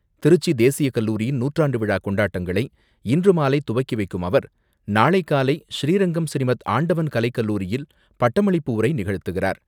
திருச்சி தேசிய கல்லூரியின் நூற்றாண்டு விழா கொண்டாட்டங்களை இன்றுமாலை துவக்கி வைக்கும் அவர், நாளை காலை ஸ்ரீரங்கம் ஸ்ரீமத் ஆண்டவன் கலைக்கல்லூரியில் பட்டமளிப்பு உரை நிகழ்த்துகிறார்.